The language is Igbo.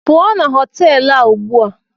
Pụọ na họtelụ a ugbu a!